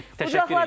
Təşəkkür eləyirik.